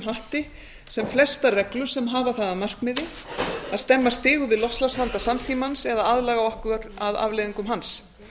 hatti sem flestar reglur sem hafa það að markmiði að stemma stigu við loftslagsvanda samtímans eða aðlaga okkur öll að afleiðingum hans